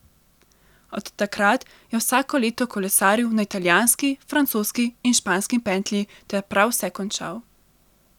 Od takrat je vsako leto kolesaril na italijanski, francoski in španski pentlji ter prav vse končal.